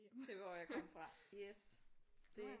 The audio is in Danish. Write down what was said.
til hvor jeg kom fra yes det